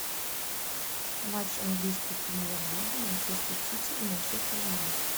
матч английской премьер лиги манчестер сити и манчестер юнайтед